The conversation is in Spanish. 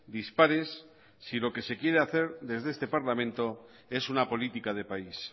dispares si lo que se quiere hacer desde este parlamento es una política de país